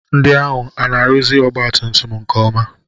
Ndị ahụ ana-arụzi ọgbatumtum nke ọma?